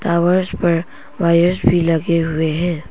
Towers पर wires भी लगे हुए है।